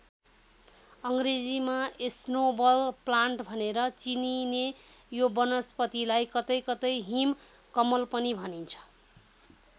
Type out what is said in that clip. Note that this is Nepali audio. अङ्ग्रेजीमा स्नोबल प्लान्ट भनेर चिनिने यो वनस्पतिलाई कतै कतै हिम कमल पनि भनिन्छ।